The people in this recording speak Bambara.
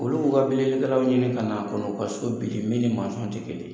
Olu b'u ka bilikɛlaw ɲini ka na kɔnɔ u ka so bili min ni ti kelen ye